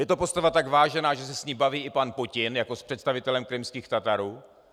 Je to postava tak vážená, že se s ním baví i pan Putin jako s představitelem krymských Tatarů.